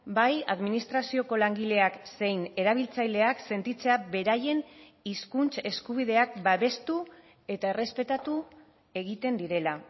bai administrazioko langileak zein erabiltzaileak sentitzea beraien hizkuntz eskubideak babestu eta errespetatu egiten direla